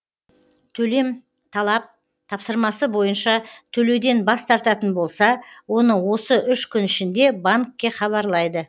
төлем талап тапсырмасы бойынша төлеуден бас тартатын болса оны осы үш күн ішінде банкке хабарлайды